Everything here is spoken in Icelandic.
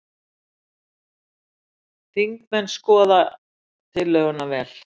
Þingmenn skoði tillöguna vel